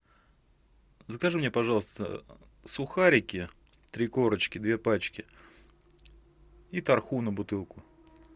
закажи мне пожалуйста сухарики три корочки две пачки и тархуна бутылку